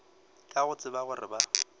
ka go tseba gore ba